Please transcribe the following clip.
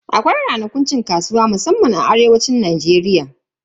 Akwai ranakun cin kasuwa musamman anan arewacin Najeriya.